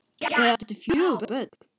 Þau áttu fjögur börn